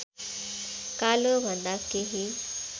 कालोभन्दा केही